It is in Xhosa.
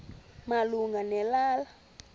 malunga ne lala